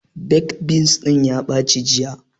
Baked beans ɗin ya ɓaci jiya